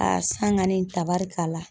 san ŋani tabarikala.